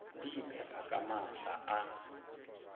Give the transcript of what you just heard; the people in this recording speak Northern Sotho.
di iphepa ka maatla a